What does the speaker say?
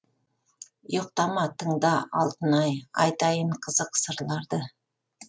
ұйықтама тыңда алтын ай айтайын қызық сырларды